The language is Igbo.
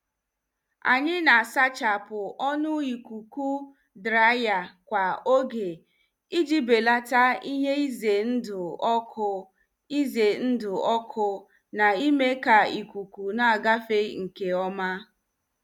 Anyị na- asachapu ọnụ ikuku draiya kwa oge iji beleta ihe ize ndụ ọkụ ize ndụ ọkụ na- ime ka ikuku na-agafe nke ọma.